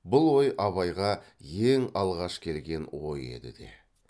бұл ой абайға ең алғаш келген ой еді де